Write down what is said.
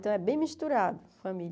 Então, é bem misturado, família.